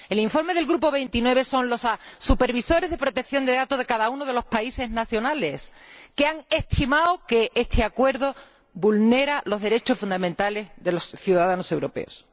En el informe del GT 29 son los supervisores de protección de datos nacionales de cada uno de los países los que han estimado que este acuerdo vulnera los derechos fundamentales de los ciudadanos europeos.